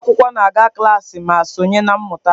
Ụmụ akwụkwọ na-aga klaasị ma sonye na mmụta.